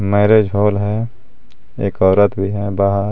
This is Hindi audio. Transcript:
मैरेज हॉल है एक औरत भी है बाहर--